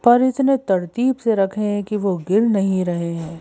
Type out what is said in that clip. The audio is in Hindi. पर इतने तरतीब से रखें कि वो गिर नहीं रहे हैं।